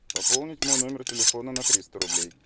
пополнить мой номер телефона на триста рублей